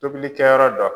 Tobilikɛyɔrɔ dɔ